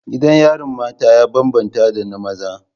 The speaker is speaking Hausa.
Gidan yarin mata ya bambanta da na maza.